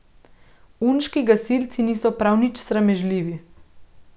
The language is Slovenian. Unški gasilci niso prav nič sramežljivi.